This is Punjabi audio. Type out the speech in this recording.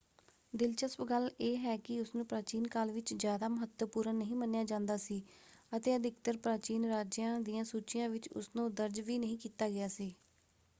ਦਿਲਚਸਪ ਗੱਲ ਇਹ ਹੈ ਕਿ ਉਸਨੂੰ ਪ੍ਰਾਚੀਨ ਕਾਲ ਵਿੱਚ ਜਿਆਦਾ ਮਹੱਤਵਪੂਰਨ ਨਹੀਂ ਮੰਨਿਆ ਜਾਂਦਾ ਸੀ ਅਤੇ ਅਧਿਕਤਰ ਪ੍ਰਾਚੀਨ ਰਾਜਿਆਂ ਦੀਆਂ ਸੂਚੀਆਂ ਵਿੱਚ ਉਸਨੂੰ ਦਰਜ ਵੀ ਨਹੀਂ ਕੀਤਾ ਗਿਆ ਸੀ।